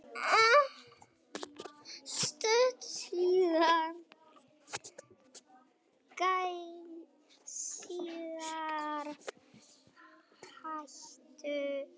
Stuttu síðar hættu þau leiknum, stungu spöðum sínum í poka og hengdu pokann á öxlina.